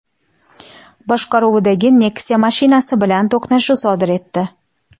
boshqaruvidagi Nexia mashinasi bilan to‘qnashuv sodir etdi.